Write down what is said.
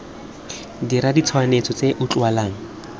dira ditshwetso tse di utlwalang